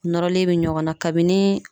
Nɔrɔlen be ɲɔgɔn na ,kabini